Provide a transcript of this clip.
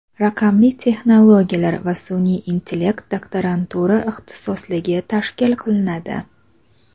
"Raqamli texnologiyalar va sun’iy intellekt" doktorantura ixtisosligi tashkil qilinadi.